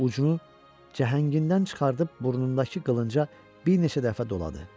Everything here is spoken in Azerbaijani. Ucunu cəhəngindən çıxardıb burnundakı qılınca bir neçə dəfə doladı.